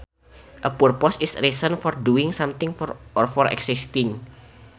A purpose is reason for doing something or for existing